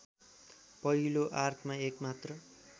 पहिलो आर्कमा एकमात्र